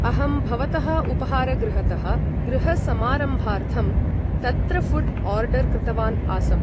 अहं भवतः उपहारगृहतः गृहसमारम्भार्थं तत्र फु़ड् ओर्डर् कृतवान् आसम् ।